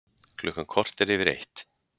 Klukkan korter yfir eitt